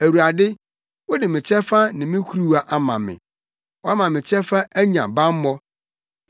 Awurade, wode me kyɛfa ne me kuruwa ama me; woama me kyɛfa anya bammɔ.